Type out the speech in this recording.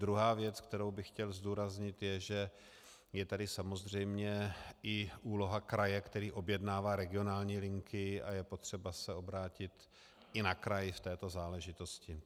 Druhá věc, kterou bych chtěl zdůraznit, je, že je tady samozřejmě i úloha kraje, který objednává regionální linky a je potřeba se obrátit i na kraj v této záležitosti.